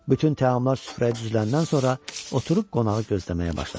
Bütün təamlar süfrəyə düzüləndən sonra oturub qonağı gözləməyə başladı.